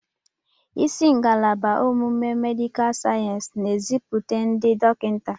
Isi ngalaba ọmụmụ medịkal sayensị na-azụpụta ndị dọkịta.